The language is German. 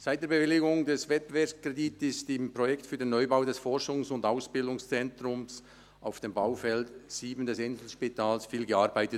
Seit der Bewilligung des Wettbewerbskredits wurde im Projekt für den Neubau des Forschungs- und Ausbildungszentrums auf dem Baufeld 7 des Inselspitals viel gearbeitet.